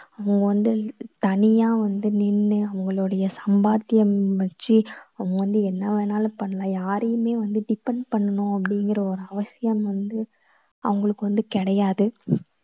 அவங்க வந்து தனியா வந்து நின்னு அவங்களுடைய சம்பாத்யம் வச்சு அவங்க வந்து என்ன வேணும்னாலும் பண்ணலாம். யாரையுமே வந்து depend பண்ணணும் அப்படிங்கற ஒரு அவசியம் வந்து அவங்களுக்கு வந்து கிடையாது.